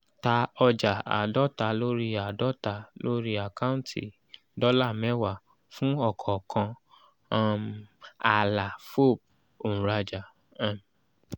ta ọjà àádọ́ta lórí àádọ́ta lórí àkáǹtì dọ́là mẹ́wàá fún ọ̀kọ̀ọ̀kan um ààlà fob òǹrajà. um